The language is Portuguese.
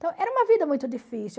Então, era uma vida muito difícil.